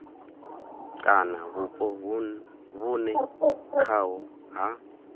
kana vhupo vhune khaho ha